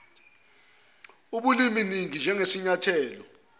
ubulimi ningi njengesinyathelo